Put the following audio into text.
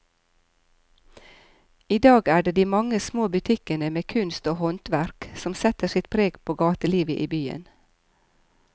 I dag er det de mange små butikkene med kunst og håndverk som setter sitt preg på gatelivet i byen.